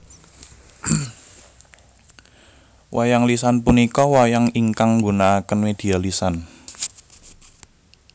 Wayang lisan punika wayang ingkang nggunaaken media lisan